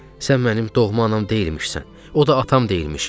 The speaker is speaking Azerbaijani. Sən mənim doğma anam deyilmişsən, o da atam deyilmiş.